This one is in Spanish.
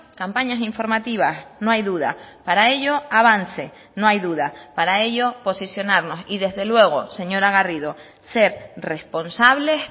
campañas informativas no hay duda para ello avance no hay duda para ello posicionarnos y desde luego señora garrido ser responsables